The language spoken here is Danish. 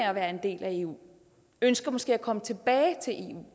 at være en del af eu og ønsker måske at komme tilbage til eu